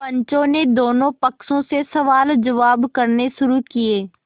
पंचों ने दोनों पक्षों से सवालजवाब करने शुरू किये